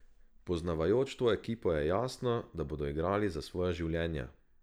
Poznavajoč to ekipo je jasno, da bodo igrali za svoja življenja.